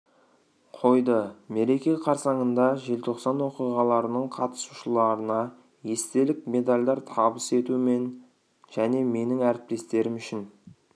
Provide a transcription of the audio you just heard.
қойды мереке қарсаңында желтоқсан оқиғаларының қатиысушыларына естелік медальдар табыс ету мен және менің әріптестерім үшін